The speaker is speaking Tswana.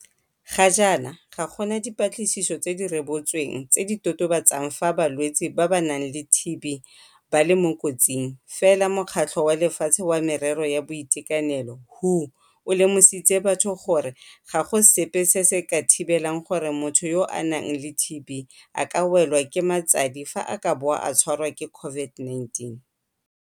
Ga jaana ga gona dipatlisiso tse di rebotsweng tse di totobatsang fa balwetse ba ba nang le TB ba le mo kotsing, fela Mokgatlho wa Lefatshe wa Merero ya Boitekanelo WHO o lemositse batho gore ga go sepe se se ka thibelang gore motho yo a nang le TB a ka welwa ke matsadi fa a ka bo a tshwarwa ke COVID-19.